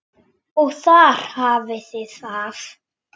Og þar hafið þið það!